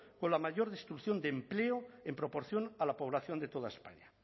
con la mayor destrucción de empleo en proporción a la población de toda españa